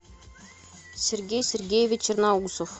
сергей сергеевич черноусов